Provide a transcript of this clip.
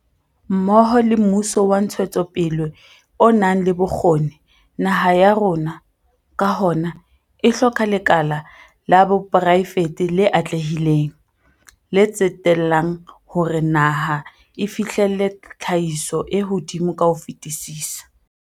Mmoho le mmuso wa ntshetsopele o nang le bokgoni, naha ya rona, ka hona, e hloka lekala la poraefete le atlehileng, le tsetellang hore naha e fihlelle tlhahiso e hodimo ka ho fetisisa.